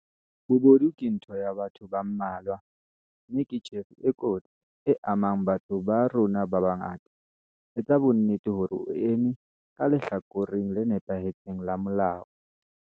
Bobodu ke ntho ya batho ba mmalwa, mme ke tjhefo e kotsi, e amang batho ba rona ba bangata. Etsa bonnete hore o eme ka lehlakoreng le nepahetseng la molao.